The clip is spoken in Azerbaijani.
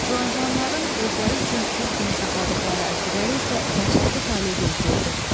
Juan Juanların özləri üçün qul kimi saxladıqları əsirləri isə dəhşətli taley gözləyirdi.